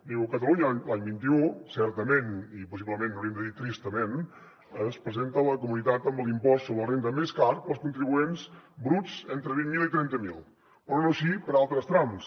diu catalunya l’any vint un certament i possiblement hauríem de dir tristament es presenta la comunitat amb l’impost sobre la renda més car per als contribuents bruts entre vint mil i trenta mil però no així per a altres trams